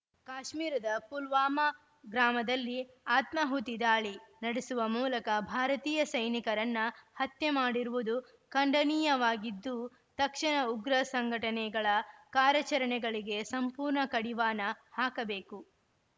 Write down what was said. ಕಾಶ್ಮೀರದ ಪುಲ್ವಾಮ ಗ್ರಾಮದಲ್ಲಿ ಆತ್ಮಾಹುತಿ ದಾಳಿ ನಡೆಸುವ ಮೂಲಕ ಭಾರತೀಯ ಸೈನಿಕರನ್ನ ಹತ್ಯೆ ಮಾಡಿರುವುದು ಖಂಡನೀಯವಾಗಿದ್ದು ತಕ್ಷಣ ಉಗ್ರ ಸಂಘಟನೆಗಳ ಕಾರ್ಯಾಚರಣೆಗಳಿಗೆ ಸಂಪೂರ್ಣ ಕಡಿವಾಣ ಹಾಕಬೇಕು